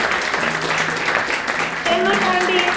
ਤੈਨੂੰ ਈ ਕਹਿਣ ਡਈ ਆਂ।